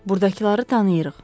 Burdakıları tanıyırıq.